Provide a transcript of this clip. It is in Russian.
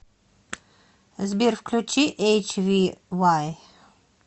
сбер включи эйчвивай